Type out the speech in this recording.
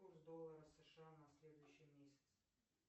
курс доллара сша на следующий месяц